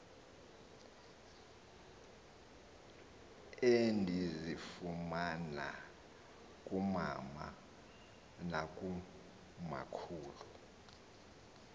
endizifumana kumama nakumakhulu